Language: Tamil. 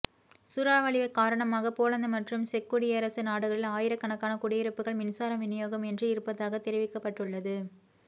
சூறாவளி காரணமாக போலந்து மற்றும் செக்குடியரசு நாடுகளில் ஆயிரக்கணக்கான குடியிருப்புக்கள் மின்சார விநியோகம் இன்றி இருப்பதாக தெரிவிக்கப்பட்டுள்ளது